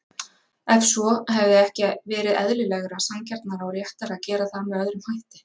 Ef svo, hefði ekki verið eðlilegra, sanngjarnara og réttara að gera það með öðrum hætti?